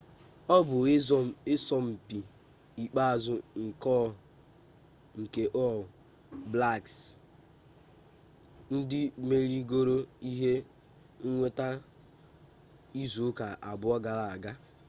ọ bụ ịsọmpi ikpeazụ nke ọl blaks ndị merigoro ihe nnweta izu ụka abụọ gara aga